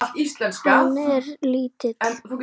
Hann er lítill.